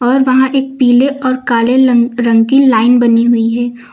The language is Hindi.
और वहां एक पीले और काले लं रंग की लाइन बनी हुई है।